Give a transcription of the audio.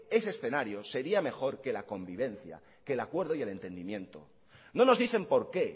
ese escenario sería mejor que la convivencia que el acuerdo y el entendimiento no nos dicen por qué